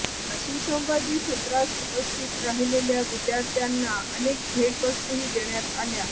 या सुसंवादी सत्रास उपस्थित राहिलेल्या विद्यार्थ्यांना अनेक भेटवस्तूही देण्यात आल्या